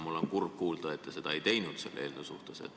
Mul on kurb kuulda, et te seda selle eelnõu suhtes ei teinud.